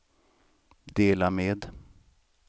dela med